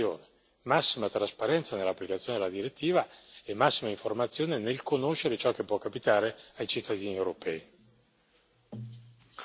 Infine servono una campagna di informazione, massima trasparenza nell'applicazione della direttiva e massima informazione nel conoscere ciò che può capitare ai cittadini europei.